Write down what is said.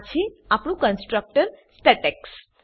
આ છે આપણું કન્સ્ટ્રક્ટર સ્ટેટેક્સ